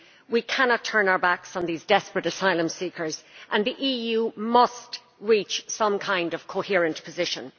We cannot turn our backs on these desperate asylum seekers and the EU must reach some kind of coherent position.